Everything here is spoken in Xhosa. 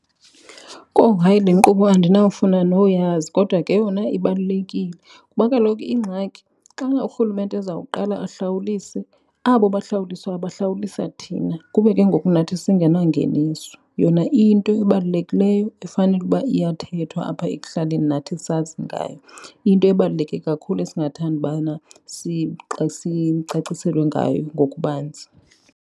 Kowu, hayi le nkqubo andinawufuna noyazi kodwa ke yona ibalulekile kuba kaloku ingxaki xana uRhulumente ezawuqala ahlawulise abo bahlawuliswayo bahlawulisa thina kube ke ngoku nathi singenangeniso. Yona iyinto ebalulekileyo efanele uba iyathethwa apha ekuhlaleni nathi sazi ngayo. Iyinto ebaluleke kakhulu esingathanda ubana sicaciselwe ngayo ngokubanzi.